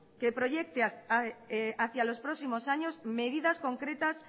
que proyecte hacia los próximos años medidas concretas